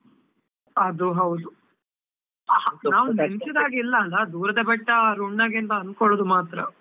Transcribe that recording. ಅದು ಹೌದು. ಎಣಿಸಿದ ಹಾಗೆ ಇಲ್ಲ ಅಲ್ಲ, ದೂರದ ಬೆಟ್ಟ ನುಣ್ಣಗೆ ಅಂತಾ ಅನ್ಕೊಳ್ಳುವುದು ಮಾತ್ರ.